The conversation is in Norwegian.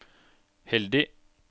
heldig